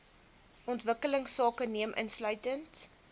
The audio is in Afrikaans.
ontwikkelingsake neem insluitend